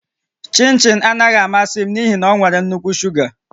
Chịnchịn anaghị amasị m n'ihi na ọ nwere nnukwu shuga